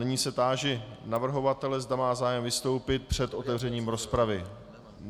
Nyní se táži navrhovatele, zda má zájem vystoupit před otevřením rozpravy.